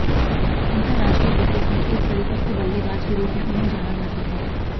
अंतरराष्ट्रीय क्रिकेट में एक परिपक्व बल्लेबाज के रूप में उन्हें जाना जाता है